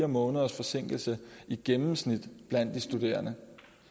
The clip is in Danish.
måneders forsinkelse i gennemsnit blandt de studerende